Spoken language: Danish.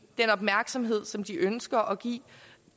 den opmærksomhed som de ønsker at give